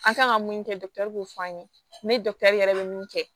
An kan ka mun kɛ b'o fɔ an ye ne yɛrɛ bɛ min kɛ